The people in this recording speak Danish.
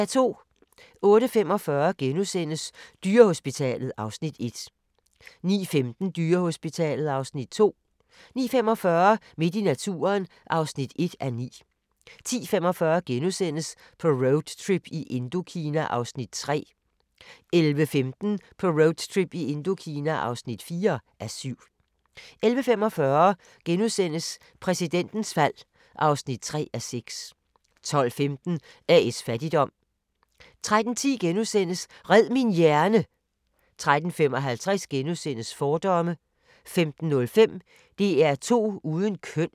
08:45: Dyrehospitalet (Afs. 1)* 09:15: Dyrehospitalet (Afs. 2) 09:45: Midt i naturen (1:9) 10:45: På roadtrip i Indokina (3:7)* 11:15: På roadtrip i Indokina (4:7) 11:45: Præsidentens fald (3:6)* 12:15: A/S Fattigdom 13:10: Red min hjerne! * 13:55: Fordomme * 15:05: DR2 uden køn